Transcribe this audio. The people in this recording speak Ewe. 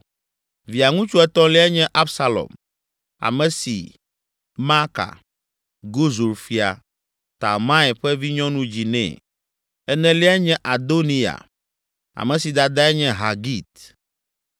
Via ŋutsu etɔ̃liae nye Absalom, ame si Maaka, Gesur Fia, Talmai ƒe vinyɔnu dzi nɛ. Eneliae nye Adoniya, ame si dadae nye Hagit.